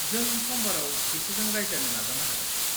जों समबाराव बिसोरजों रायज्लायनो नाजानो हागोन।